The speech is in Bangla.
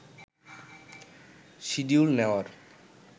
শিডিউল নেওয়ার